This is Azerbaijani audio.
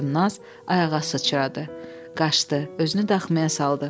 Və Çimnaz ayağa sıçradı, qaçdı, özünü daxmaya saldı.